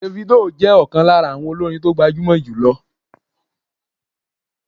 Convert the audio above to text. Davido jẹ́ ọ̀kan lára àwọn olórin tó gbajúmọ̀ jùlọ